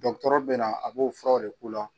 Dɔkutɔrɔ bɛ na a b'o furaw de k'u la.